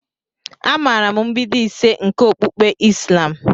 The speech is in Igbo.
Amaara m mgbidi ise nke okpukpe islam.